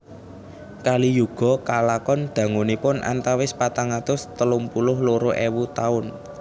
Kali Yuga kalakon dangunipun antawis patang atus telung puluh loro ewu taun